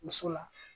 Muso la